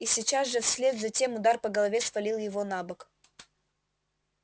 и сейчас же вслед за тем удар по голове свалил его на бок